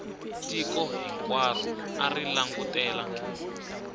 tiko hinkwaro a ri langutele